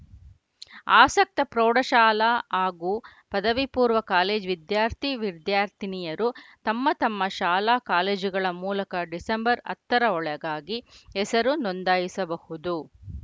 ಆಸಕ್ತ ಪ್ರೌಢಶಾಲಾ ಹಾಗೂ ಪದವಿಪೂರ್ವ ಕಾಲೇಜು ವಿದ್ಯಾರ್ಥಿವಿದ್ಯಾರ್ಥಿನಿಯರು ತಮ್ಮ ತಮ್ಮ ಶಾಲಾ ಕಾಲೇಜುಗಳ ಮೂಲಕ ಡಿಸೆಂಬರ್ ಹತ್ತರ ಒಳಗಾಗಿ ಹೆಸರು ನೋಂದಾಯಿಸಬಹುದು